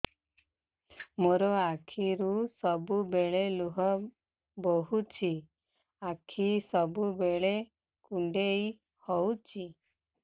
ମୋର ଆଖିରୁ ସବୁବେଳେ ଲୁହ ବୋହୁଛି ଆଖି ସବୁବେଳେ କୁଣ୍ଡେଇ ହଉଚି